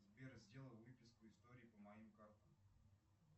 сбер сделай выписку истории по моим картам